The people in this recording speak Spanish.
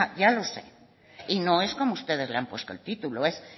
ya lo sé y no es como ustedes le han puesto el título es